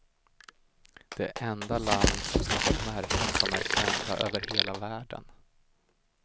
Det enda land som skapat märken som är kända över hela världen.